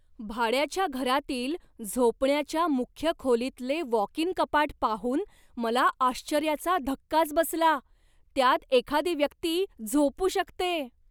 भाड्याच्या घरातील झोपण्याच्या मुख्य खोलीतले वॉक इन कपाट पाहून मला आश्चर्याचा धक्काच बसला, त्यात एखादी व्यक्ती झोपू शकते.